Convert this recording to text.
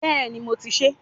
Béèni mo ti sèé